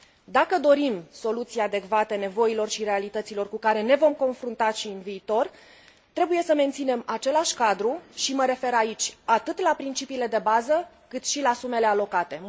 Dacă dorim soluții adecvate nevoilor și realităților cu care ne vom confrunta și în viitor, trebuie să menținem același cadru și mă refer aici atât la principiile de bază, cât și la sumele alocate